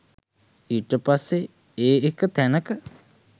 ඊට පස්සෙ ඒ එක තැනක